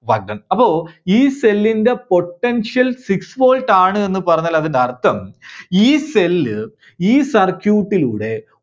Work done. അപ്പോ ഈ cell ന്റെ potential six volt ആണ് എന്നുപറഞ്ഞാൽ അതിൻറെ അർത്ഥം ഈ cell ഈ circuit ന്റെ